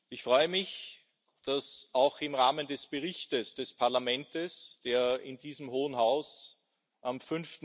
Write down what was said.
Ich freue mich, dass sich auch im Rahmen des Berichts des Parlaments, der in diesem Hohen Haus am